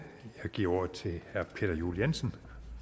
jeg giver ordet til herre peter juel jensen